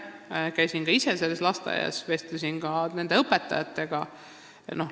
Ma käisin ka ise selles lasteaias ja vestlesin õpetajatega.